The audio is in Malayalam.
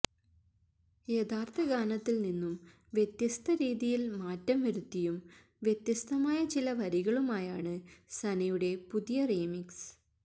യഥാര്ത്ഥ ഗാനത്തില് നിന്നും വ്യത്യസ്ത രീതിയില് മാറ്റം വരുത്തിയും വ്യത്യസ്തമായ ചില വരികളുമായാണ് സനയുടെ പുതിയ റീമിക്സ്